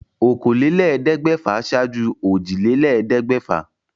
Okòólélẹ́ẹ̀ẹ́dẹ́gbẹ́fà ṣáájú òjìlélẹ́ẹ̀ẹ́dẹ́gbẹ́fà